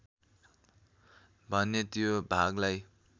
भने त्यो भागलाई